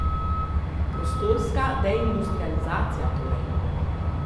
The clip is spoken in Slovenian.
Prostorska deindustrializacija torej.